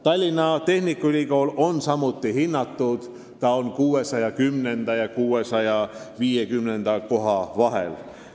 Tallinna Tehnikaülikool on samuti hinnatud: ta on 610. ja 650. koha vahel.